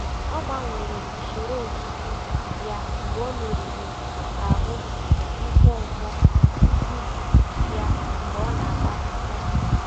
Ọ gbanwere usoro ọzụzụ ya mgbe ọ merụrụ ahụ nkwonkwo ụkwụ ya mgbe ọ na-agba ọsọ.